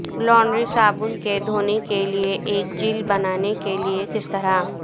laundry صابن کے دھونے کے لئے ایک جیل بنانے کے لئے کس طرح